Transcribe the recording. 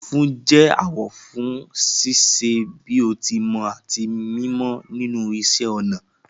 Funfun jẹ awọ fún ṣíṣe bí o ti mọ àti mímọ nínú iṣẹ́ ọnà